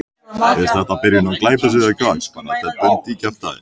Er þetta byrjun á glæpasögu eða hvað?